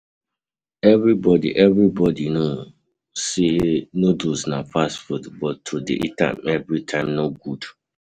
Everybody Everybody know, say noodles na fast food but to dey eat am every time no good